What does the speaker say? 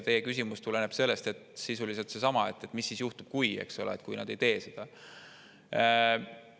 Teie küsimus on sisuliselt seesama, et mis siis juhtub, eks ole, kui nad ei tee seda.